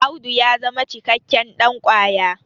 Audu ya zama cikakken ɗankwaya